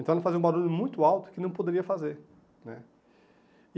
Então, ela fazia um barulho muito alto que não poderia fazer né. E